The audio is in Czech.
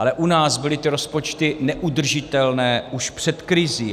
Ale u nás byly ty rozpočty neudržitelné už před krizí.